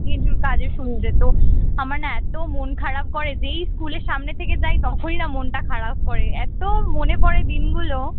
কিছু কাজের সূত্রে তো আমার না এত মন খারাপ করে যেই স্কুলের সামনে থেকে যাই তখনই না মনটা খারাপ করে এত মনে পড়ে দিনগুলো